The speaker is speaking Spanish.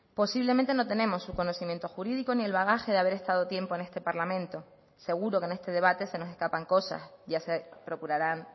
posiblemente no tenemos su conocimiento jurídico ni el bagaje de haber estado tiempo en este parlamento seguro que en este debate se nos escapan cosas ya se procurarán